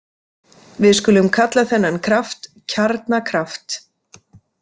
Við skulum kalla þennan kraft kjarnakraft.